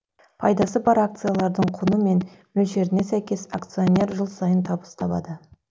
пайдасы бар акциялардың құны мен мөлшеріне сәйкес акционер жыл сайын табыс табады